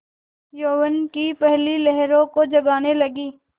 यौवन की पहली लहरों को जगाने लगी